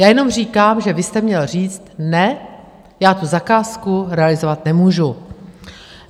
Já jenom říkám, že vy jste měl říct: Ne, já tu zakázku realizovat nemůžu.